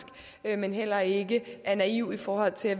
men heller ikke er naive i forhold til at